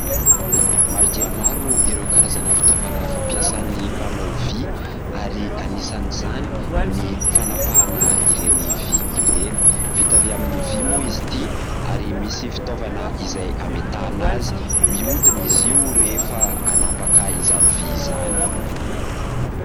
Maro dia maro ireo karazana fitaovana fampiasan'ny mpanao vy ary anisan'izany ny fanapahana ireny vy ireny. Vita avy amin'ny vy mo izy itỳ ary misy fitaovana izay ametahana azy. Mihodina izy io rehefa hanapaka izany vy izany.